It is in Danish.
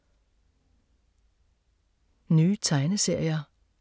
Nye tegneserier